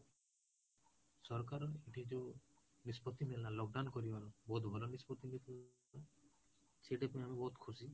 ସରକାର ଏଇଠି ଯୋଉ ନିଷ୍ପତି ନେଲା lockdown କରିବାର ବହୁତ ଭଲ ନିଷ୍ପତି ନେଇଥିଲା ସେଠି ପାଇଁ ଆମେ ବହୁତ ଖୁସି